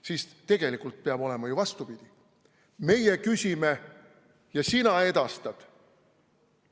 Kuigi tegelikult peab olema ju vastupidi – meie küsime ja sina edastad.